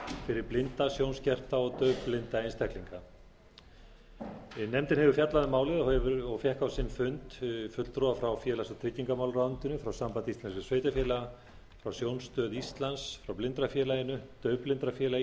fyrir blinda sjónskerta og daufblinda einstaklinga nefndin hefur fjallað um málið og fékk á sinn fund fulltrúa frá félags og tryggingamálaráðuneytinu frá sambandi íslenskra sveitarfélaga frá sjónstöð frá blindrafélaginu frá daufblindrafélagi